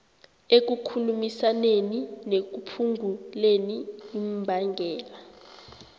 ekukhulumisaneni nekuphunguleni imbangela